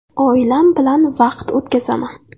Oilam bilan vaqt o‘tkazaman.